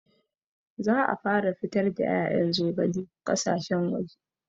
Za a fara fitar da ƴaƴan zogale ƙasashen waje